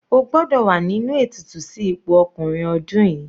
O gbọ́dọ̀ wà nínú ètùtù sí ipò ọkùnrin ọdún yìí.